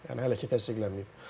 Yəni hələ ki təsdiqlənməyib.